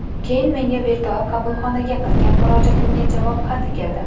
Keyin menga virtual qabulxonaga qilgan murojaatimga javob xati keldi.